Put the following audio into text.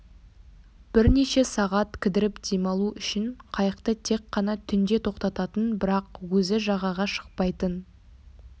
бірнеше сағат кідіріп демалу үшін қайықты тек қана түнде тоқтататын бірақ өзі жағаға шықпайтын